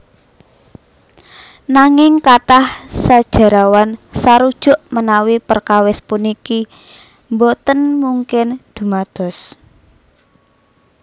Nanging kathah sajarawan sarujuk menawi perkawis puniki boten mungkin dumados